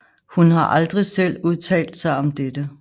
Hun har aldrig selv udtalt sig om dette